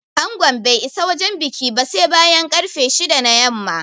Angon bai isa wajen bikin ba sai bayan ƙarfe shida na yamma